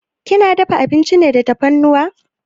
Kina dafa abinci da tafarnuwa?